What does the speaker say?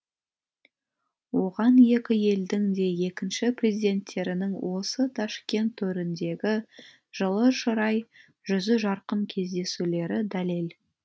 оған екі елдің де екінші президенттерінің осы ташкент төріндегі жылы шырай жүзі жарқын кездесулері дәлел